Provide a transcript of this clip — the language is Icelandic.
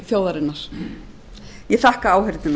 þjóðarinnar ég þakka áheyrnina